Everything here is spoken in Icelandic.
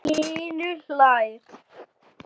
Hlynur hlær.